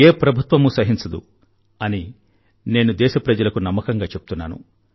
ఏ ప్రభుత్వమూ సహించదు అని నేను దేశప్రజలకు నమ్మకంగా చెప్తున్నాను